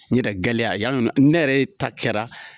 Ɲitɛ gale yano na , ne yɛrɛ ta kɛra.